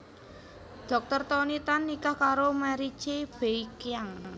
Dr Tony Tan nikah karo Mary Chee Bee Kiang